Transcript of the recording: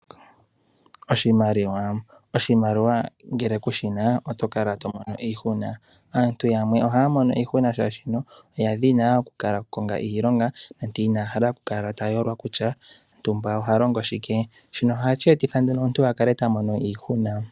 Oshimaliwa ngele ku shi na oto kala mono iihuna. Aantu yamwe ohaya mono iihuna, molwaashoka oya dhina oku ka konga iilonga, inaya hala okuyolwa kutya ntumba oha longo shike, shino ohashi etitha omuntu a kale ta mono iihuna.